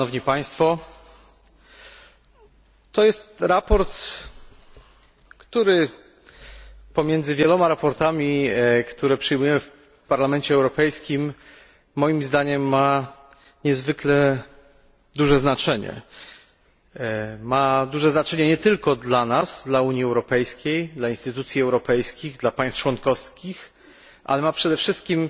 To jest sprawozdanie, które, pomiędzy wieloma sprawozdaniami przyjmowanymi w Parlamencie Europejskim, ma moim zdaniem niezwykle duże znaczenie. Ma duże znaczenie nie tylko dla nas dla Unii Europejskiej, instytucji europejskich, państw członkowskich ale ma przede wszystkim